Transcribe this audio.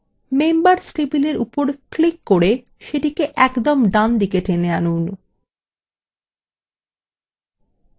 members table উপর click করে সেটিকে একদম ডানদিকে টেনে আনুন